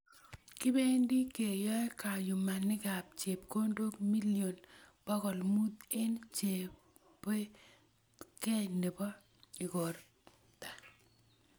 Kibendi keyoe kayumanikab chepkondook million bokol muut eng chobetobgei nebo igorta.